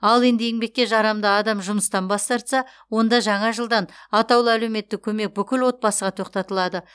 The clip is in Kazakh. ал енді еңбекке жарамды адам жұмыстан бас тарса онда жаңа жылдан атаулы әлеуметтік көмек бүкіл отбасыға тоқтатылады